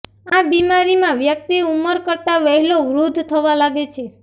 આ બીમારીમાં વ્યક્તિ ઉંમર કરતા વહેલો વૃદ્ધ થવા લાગે છે